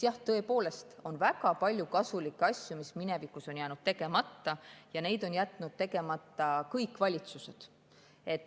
Jah, tõepoolest on väga palju kasulikke asju, mis minevikus on jäänud tegemata, ja neid on jätnud tegemata kõik valitsused.